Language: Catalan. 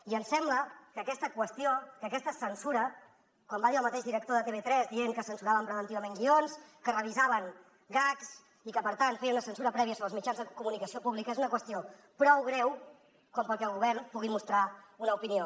i ens sembla que aquesta qüestió que aquesta censura com va dir el mateix director de tv3 dient que censuraven preventivament guions que revisaven gags i que per tant es feia una censura prèvia sobre els mitjans de comunicació públics és una qüestió prou greu com perquè el govern hi pugui mostrar una opinió